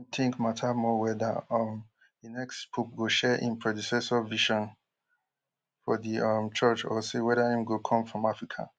im think matter more weda um di next pope go share im predecessor vision for di um church or say weda im go come from africa